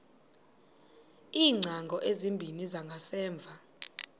iingcango ezimbini zangasemva